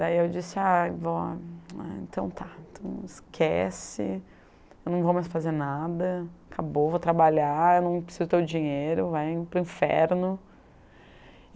Daí eu disse, ah, vó, então tá, esquece, eu não vou mais fazer nada, acabou, vou trabalhar, não preciso do teu dinheiro, vai para o inferno.